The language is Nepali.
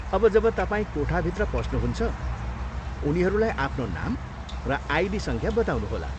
अब, जब तपाईँ कोठाभित्र पस्नुहुन्छ उनीहरूलाई आफ्नो नाम र आइडी सङ्ख्या बताउनुहोला।